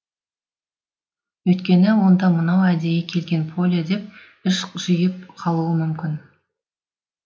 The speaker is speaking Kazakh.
өйткені онда мынау әдейі келген поле деп іш жиып қалуы мүмкін